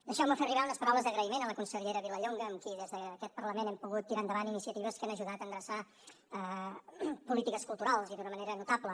deixeu me fer arribar unes paraules d’agraïment a la consellera vilallonga amb qui des d’aquest parlament hem pogut tirar endavant iniciatives que han ajudat a endreçar polítiques culturals i d’una manera notable